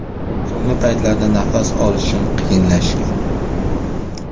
So‘nggi paytlarda nafas olishim qiyinlashgan.